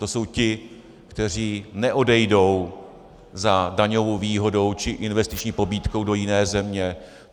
To jsou ti, kteří neodejdou za daňovou výhodou či investiční pobídkou do jiné země.